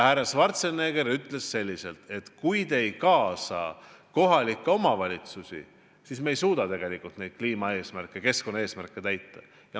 Härra Schwarzenegger ütles, et kui ei kaasata kohalikke omavalitsusi, siis ei suudeta seatud kliimaeesmärke ja muid keskkonnaeesmärke täita.